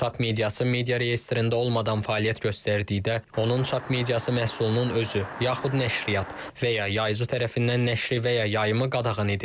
Çap mediası media reyestrində olmadan fəaliyyət göstərdikdə onun çap mediası məhsulunun özü yaxud nəşriyyat və ya yaycı tərəfindən nəşri və ya yayımı qadağan edilir.